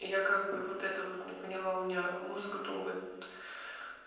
я как бы вот это вот не поняла у меня мозг думает